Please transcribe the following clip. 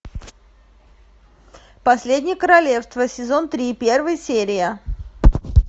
последнее королевство сезон три первая серия